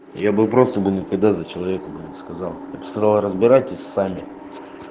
я бы просто бы никогда за человека бы не сказал я б сказала разбирайтесь сами